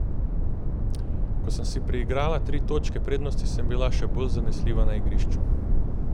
Ko sem si priigrala tri točke prednosti, sem bila še bolj zanesljiva na igrišču.